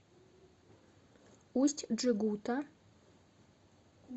усть джегута